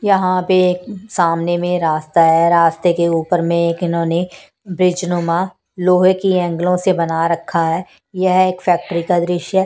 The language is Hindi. यहां पे सामने में रास्ता है रास्ते के ऊपर में एक इन्होंने ब्रिज नुमा लोहे की एंगलों से बना रखा है यह एक फैक्ट्री का दृश्य है।